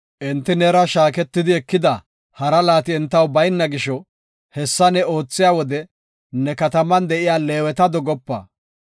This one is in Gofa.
Enti neera shaaketidi ekida hara laati entaw bayna gisho, hessa ne oothiya wode ne kataman de7iya Leeweta dogopa.